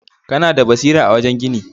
Kana da basira a wajen gini.